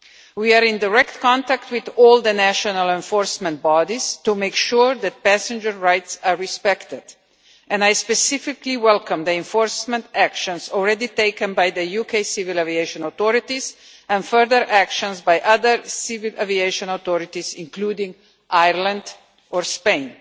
We are in direct contact with all the national enforcement bodies to make sure that passengers' rights are respected, and I specifically welcome the enforcement actions already taken by the UK civil aviation authorities and further actions by other civil aviation authorities, including in Ireland and Spain.